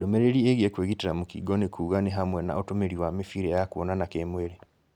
Ndũmĩrĩri ĩĩgiĩ kũĩgitĩra mũkingo nĩkuuga nĩ hamwe na ũtũmĩri wa mĩbĩra ya kuonana kĩ-mwĩrĩ